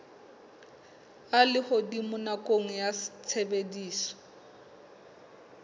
a lehodimo nakong ya tshebediso